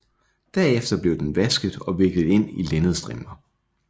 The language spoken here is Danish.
Derefter blev den vasket og viklet ind i linnedstrimler